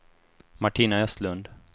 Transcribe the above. Martina Östlund